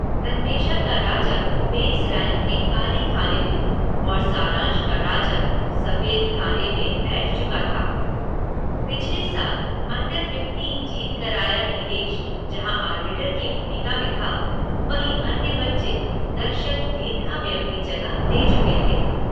अन्वेषा का राजा base rank के काले खाने में और सारांश का राजा सफ़ेद खाने में बैठ चुका था। पिछले साल अंडर फ़िफ़्टीन जीत कर आया नीलेश जहां आर्बीटर की भूमिका में था वहीं अन्य बच्चे दर्शक दीर्घा में अपनी जगह ले चुके थे।